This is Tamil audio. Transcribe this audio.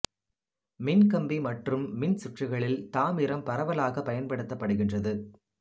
மின் கம்பி மற்றும் மின் சுற்றுகளில் தாமிரம் பரவலாகப் பயன்படுத்தப்படுகிறது